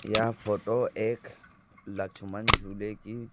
यह फोटो एक लक्ष्मण झूले की--